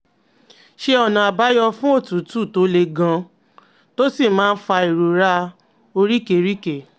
Sọ ọ̀nà-àbáyọ fún òtútù tó le gan-an, tó sì máa ń fa ìrora oríkèéríkèé?